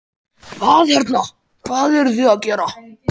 Hvað hérna, hvað eruð þið að gera?